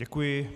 Děkuji.